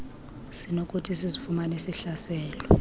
sinokuthi sizifumane sihlaselwe